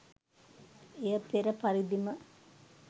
එය පෙර පරිදිම